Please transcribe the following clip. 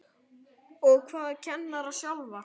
Og hvað kennara sjálfa?